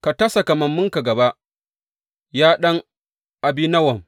Ka ta sa kamammunka gaba, ya ɗan Abinowam.’